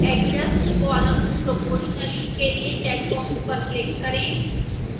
adjust columns proportionally के लिए checkbox पर click करें